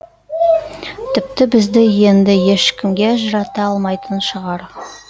тіпті бізді енді ешкімде ажырата алмайтын шығар